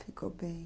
Ficou bem.